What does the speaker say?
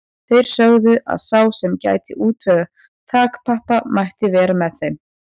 Þeir sögðu að sá sem gæti útvegað þakpappa mætti vera með þeim.